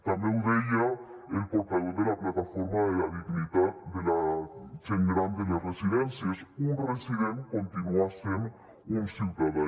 també ho deia el portaveu de la plataforma per a la dignitat de la gent gran de les residències un resident continua sent un ciutadà